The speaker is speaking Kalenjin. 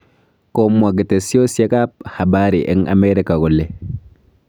Komwa ketesyosek ab habari eng amerika kole